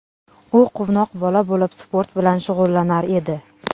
U quvnoq bola bo‘lib sport bilan shug‘ullanar edi.